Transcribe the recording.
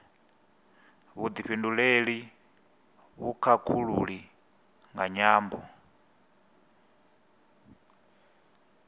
vhufhinduleli na vhukhakhulili nga nyambo